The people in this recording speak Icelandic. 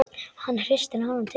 Hann hristir hana til.